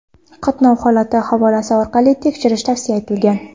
Qatnov holatini havolasi orqali tekshirish tavsiya etilgan.